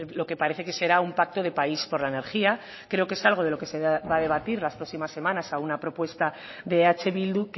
lo que parece que será un pacto de país por la energía creo que es algo de lo que se va a debatir las próximas semanas a una propuesta de eh bildu